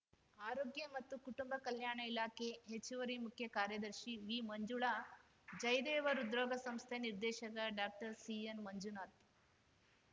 ಆರೋಗ್ಯ ಮತ್ತು ಕುಟುಂಬ ಕಲ್ಯಾಣ ಇಲಾಖೆ ಹೆಚ್ಚುವರಿ ಮುಖ್ಯ ಕಾರ್ಯದರ್ಶಿ ವಿಮಂಜುಳಾ ಜಯದೇವ ಹೃದ್ರೋಗ ಸಂಸ್ಥೆ ನಿರ್ದೇಶಕ ಡಾಕ್ಟರ್ಸಿಎನ್‌ಮಂಜುನಾಥ್‌